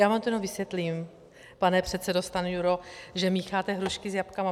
Já vám to jenom vysvětlím, pane předsedo Stanjuro, že mícháte hrušky s jabkama.